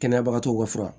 Kɛnɛya bagatɔw ka fura